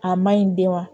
A maɲi den ma